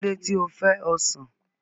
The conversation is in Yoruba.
Kí ló dé tí o fẹ́ ọsàn?